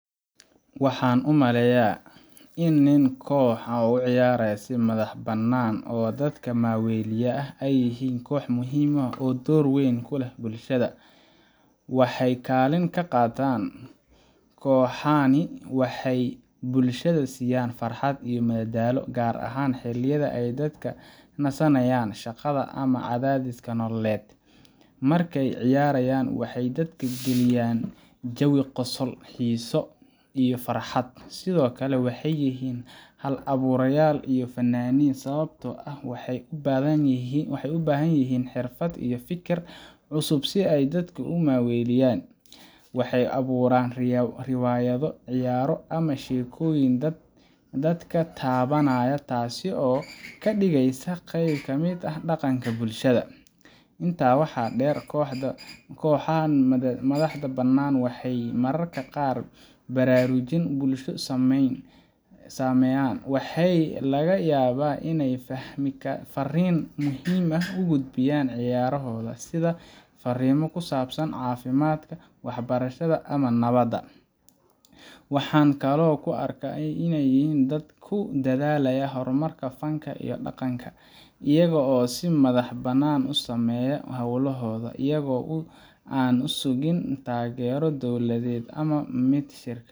Waxaan u maleynayaa in koox nin ah oo u ciyaara si madax bannaan oo dadka maaweliya ay yihiin koox muhiim ah oo door weyn ku leh bulshada. Waxay kaalin ka qaataan: Kooxahani waxay bulshada siiyaan farxad iyo madadaalo, gaar ahaan xilliyada ay dadka ka nasanayaan shaqada ama cadaadiska nololeed. Markay ciyaarayaan, waxay dadka geliyaan jawi qosol, xiiso, iyo farxad. Sidoo kale, waxay yihiin hal-abuurayaal iyo fannaaniin, sababtoo ah waxay u baahan yihiin xirfad iyo fikir cusub si ay dadka u maaweeliyaan. Waxay abuuraan riwaayado, ciyaaro ama sheekooyin dadka taabanaya, taasoo ka dhigeysa qeyb ka mid ah dhaqanka bulshada. Intaa waxaa dheer, kooxahan madax bannaan waxay mararka qaar baraarujin bulsho sameeyaan. Waxaa laga yaabaa inay fariin muhiim ah ku gudbiyaan ciyaarahooda — sida fariimo ku saabsan caafimaadka, waxbarashada, ama nabadda. Waxaan kaloo u arkaa inay yihiin dad ku dadaalaya horumarka fanka iyo dhaqanka, iyagoo si madax bannaan u sameeya hawlahooda iyaga oo aan sugin taageero dowladeed ama mid shirkadeed.